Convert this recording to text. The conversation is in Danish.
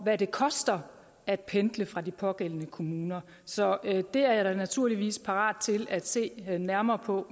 hvad det koster at pendle fra de pågældende kommuner så det er jeg da naturligvis parat til at se nærmere på